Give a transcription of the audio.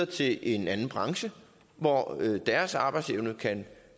til en anden branche hvor deres arbejdsevne kan